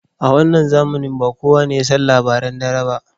A wannan zamanin ba kuwa ne yasan labaran dare ba.